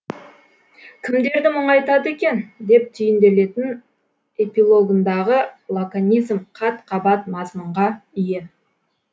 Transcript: кімдерді мұңайтады екен деп түйінделетін эпилогындағы лаконизм қат қабат мазмұнға ие